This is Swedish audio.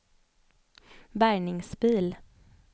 bärgningsbil